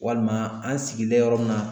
Walima an sigilen yɔrɔ min na